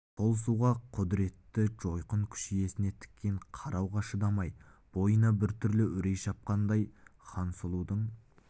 сол суға құдіретті жойқын күш иесіне тіке қарауға шыдамайды бойына бір түрлі үрей шапқандай хансұлудың